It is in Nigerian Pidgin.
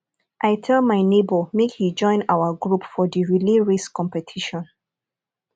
i tell my nebor make he join our group for the relay race competition